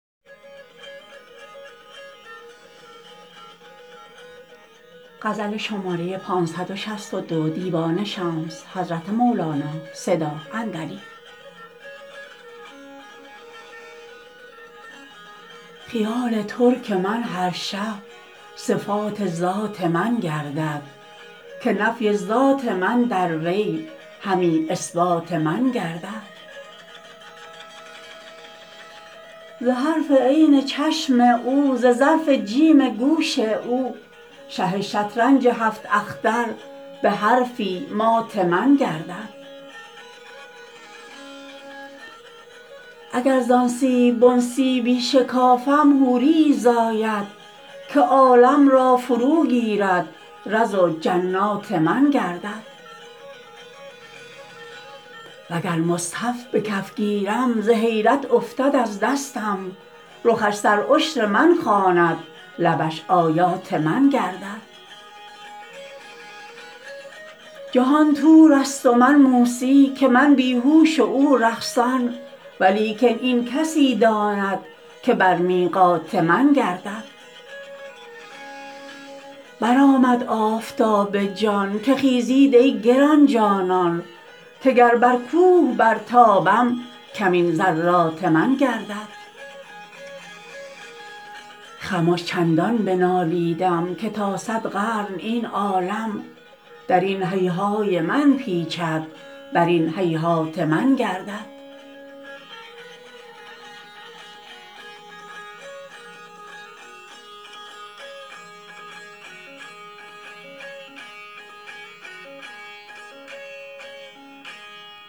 خیال ترک من هر شب صفات ذات من گردد که نفی ذات من در وی همی اثبات من گردد ز حرف عین چشم او ز ظرف جیم گوش او شه شطرنج هفت اختر به حرفی مات من گردد اگر زان سیب بن سیبی شکافم حوریی زاید که عالم را فروگیرد رز و جنات من گردد وگر مصحف به کف گیرم ز حیرت افتد از دستم رخش سرعشر من خواند لبش آیات من گردد جهان طورست و من موسی که من بی هوش و او رقصان ولیکن این کسی داند که بر میقات من گردد برآمد آفتاب جان که خیزید ای گران جانان که گر بر کوه برتابم کمین ذرات من گردد خمش چندان بنالیدم که تا صد قرن این عالم در این هیهای من پیچد بر این هیهات من گردد